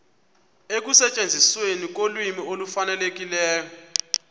ekusetyenzisweni kolwimi olufanelekileyo